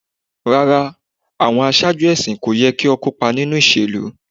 Rara, awọn aṣaaju ẹsin ko yẹ ki o kopa ninu iṣelu